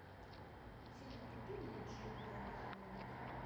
афина купи мне джип бронированный